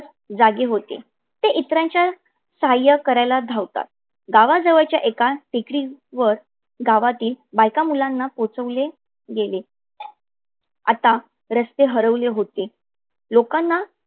जागे होते. ते इतराच साह्य करायल धावतात. गावाजवळच्या एका टेकडीवर गावातील बायका मुलांना पोहचवले गेले. आता रस्ते हरवले होते. लोकांना